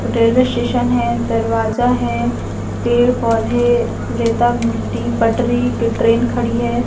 Railway station है दरवाजा है पेड़ पौधे रेता मिट्टी पटरी ट्रेन खड़ी है।